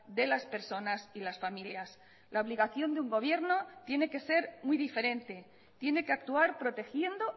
de las personas y las familias la obligación de un gobierno tiene que ser muy diferente tiene que actuar protegiendo